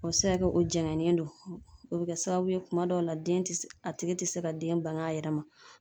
O bɛ se ka kɛ o janyalen don, o bɛ kɛ sababu ye kuma dɔw la den tɛ se, a tigi tɛ se ka den bange a yɛrɛ ma.